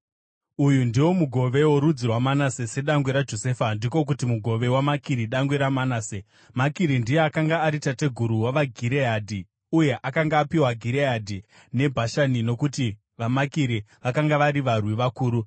Uyu ndiwo mugove worudzi rwaManase sedangwe raJosefa, ndiko kuti mugove waMakiri dangwe raManase. Makiri ndiye akanga ari tateguru wavaGireadhi, uye akanga apiwa Gireadhi neBhashani nokuti vaMakiri vakanga vari varwi vakuru.